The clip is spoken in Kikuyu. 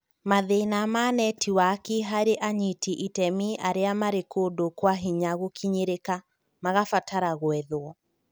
Mathĩna na Netiwaki harĩ anyiti iteme aria marĩ kũndũ kwa hinya gũkinyĩrĩka (magabatara gwethwo)